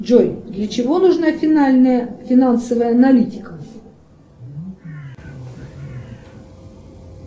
джой для чего нужна финальная финансовая аналитика